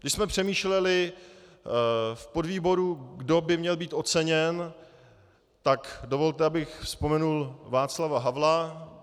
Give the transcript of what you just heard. Když jsme přemýšleli v podvýboru, kdo by měl být oceněn, tak dovolte, abych vzpomenul Václava Havla.